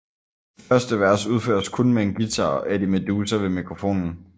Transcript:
Det første vers udføres kun med en guitar og Eddie Meduza ved mikrofonen